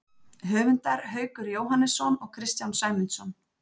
Höfundar Haukur Jóhannesson og Kristján Sæmundsson.